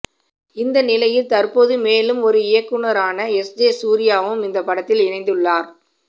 இந்த நிலையில் தற்போது மேலும் ஒரு இயக்குநரான எஸ்ஜே சூர்யாவும் இந்த படத்தில் இணைந்துள்ளார்